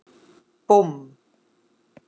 Búmm!